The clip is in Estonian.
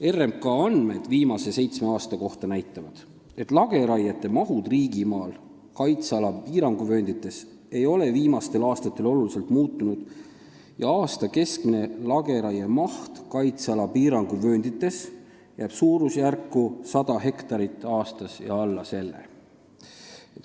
RMK andmed viimase seitsme aasta kohta näitavad, et lageraie maht riigimaal kaitseala piiranguvööndites ei ole viimastel aastatel oluliselt muutunud ja aasta keskmine lageraie maht kaitseala piiranguvööndites jääb suurusjärku 100 hektarit aastas või alla selle.